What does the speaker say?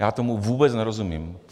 Já tomu vůbec nerozumím.